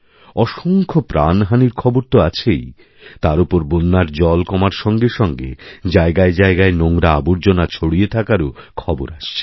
অসংখ্য প্রাণহানির খবর তো আছেই তারওপর বন্যার জল কমার সঙ্গে সঙ্গে জায়গায় জায়গায় নোংরা আবর্জনা ছড়িয়ে থাকার খবরওআসছে